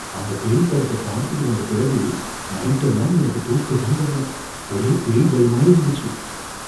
அந்த பேய் படத்த பார்த்துட்டு வந்த பிறகு நைட்டெல்லாம் எனக்கு தூக்கமே வரல, ஒரே பேய் பயமா இருந்துச்சு.